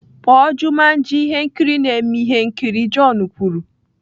Kpọọ Jumanji ihe nkiri na-eme ihe nkiri john kwuru.